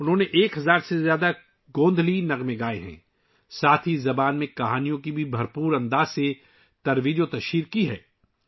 انہوں نے 1000 سے زیادہ گوندھلی گانے گائے ہیں اور اس زبان میں کہانیوں کو بھی بڑے پیمانے پر فروغ دیا ہے